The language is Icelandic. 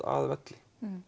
að velli